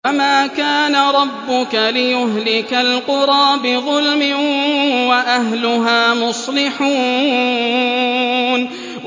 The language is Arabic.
وَمَا كَانَ رَبُّكَ لِيُهْلِكَ الْقُرَىٰ بِظُلْمٍ وَأَهْلُهَا مُصْلِحُونَ